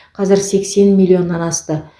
қазір сексен миллионнан асты